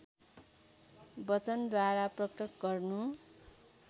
वचनद्वारा प्रकट गर्नु